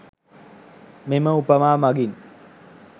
මෙම උපමා මගින්